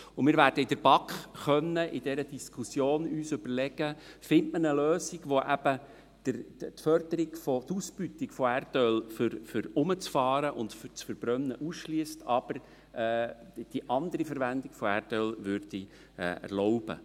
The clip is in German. Wir werden in der BaK in dieser Diskussion überlegen können, ob man eine Lösung findet, welche eben die Ausbeutung von Erdöl zum Herumfahren oder zur Verbrennung ausschliesst, aber die andere Verwendung von Erdöl erlaubt.